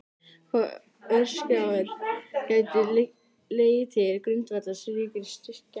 Hvaða orsakir gætu legið til grundvallar slíkri skekkju?